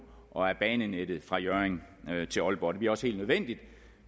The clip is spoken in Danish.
og af banenettet fra hjørring til aalborg det bliver også helt nødvendigt